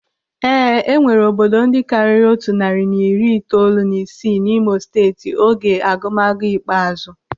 Ee, enwere obodo ndị karịrị otu narị na iri itoolu na isii n'Imo Steeti oge agụmọnụ ikpeazụ.